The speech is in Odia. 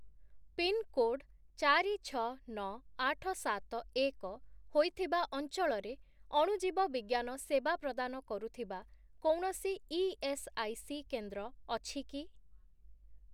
ପିନ୍‌କୋଡ୍ ଚାରି, ଛଅ, ନଅ, ଆଠ, ସାତ, ଏକ ହୋଇଥିବା ଅଞ୍ଚଳରେ ଅଣୁଜୀବବିଜ୍ଞାନ ସେବା ପ୍ରଦାନ କରୁଥିବା କୌଣସି ଇଏସ୍ଆଇସି କେନ୍ଦ୍ର ଅଛି କି?